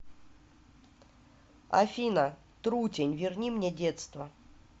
афина трутень верни мне детство